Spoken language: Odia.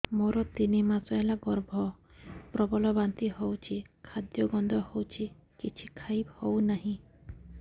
ମୋର ତିନି ମାସ ହେଲା ଗର୍ଭ ପ୍ରବଳ ବାନ୍ତି ହଉଚି ଖାଦ୍ୟ ଗନ୍ଧ ହଉଚି କିଛି ଖାଇ ହଉନାହିଁ